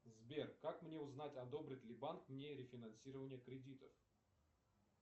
сбер как мне узнать одобрит ли банк мне рефинансирование кредитов